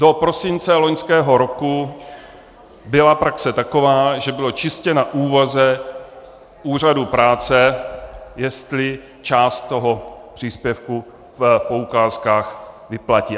Do prosince loňského roku byla praxe taková, že bylo čistě na úvaze úřadu práce, jestli část toho příspěvku v poukázkách vyplatí.